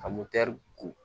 Ka motɛri ko